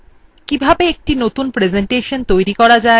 কিভাবে একটি নতুন প্রেসেন্টেশন খোলা যায়